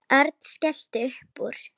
Örn skellti upp úr.